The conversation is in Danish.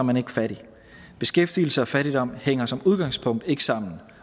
man ikke fattig beskæftigelse og fattigdom hænger som udgangspunkt ikke sammen